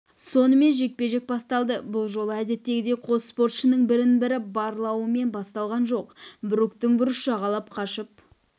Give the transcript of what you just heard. сонымен жекпе-жек басталды бұл жолы әдеттегідей қос боксшының бірін-бірі барлауымен басталған жоқ бруктың бұрыш жағалап қашып